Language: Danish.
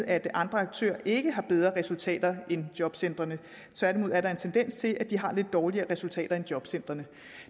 at andre aktører ikke har bedre resultater end jobcentrene tværtimod er der en tendens til at de har lidt dårligere resultater end jobcentrene